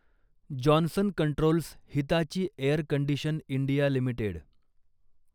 Johnson Controls Hitachi Air Condition India limited